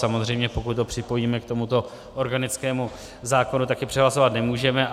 Samozřejmě pokud ho připojíme k tomuto organickému zákonu, tak je přehlasovat nemůžeme.